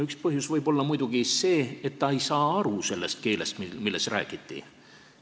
Üks põhjus võib olla muidugi see, et ta ei saa aru sellest keelest, milles räägiti.